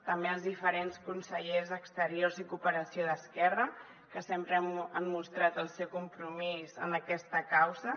també els diferents consellers d’exteriors i cooperació d’esquerra que sempre han mostrat el seu compromís amb aquesta causa